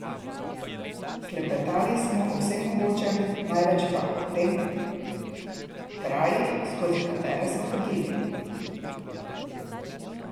Klepetali sva o vsem mogočem, največ pa o tem krajih, skozi katere sva hodili.